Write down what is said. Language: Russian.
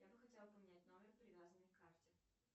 я бы хотела поменять номер привязанный к карте